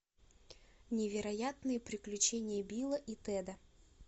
невероятные приключения билла и теда